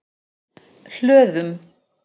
Hlöðum